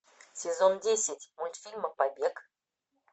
сезон десять мультфильма побег